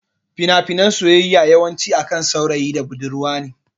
Fina finan soyayya yawan ci akan saurayi da budurwa ne